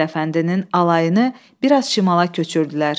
Mithət Əfəndinin alayını bir az şimala köçürdülər.